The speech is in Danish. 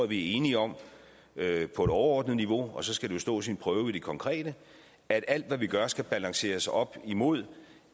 vi er enige om på et overordnet niveau og så skal det jo stå sin prøve i det konkrete at alt hvad vi gør skal balanceres op imod